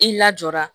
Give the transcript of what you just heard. I lajɔra